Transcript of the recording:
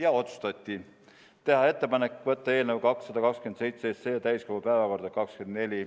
Ja otsustati: teha ettepanek võtta eelnõu 227 täiskogu päevakorda 24.